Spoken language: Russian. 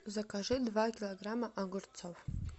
закажи два килограмма огурцов